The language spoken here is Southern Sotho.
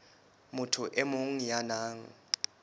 motho e mong ya nang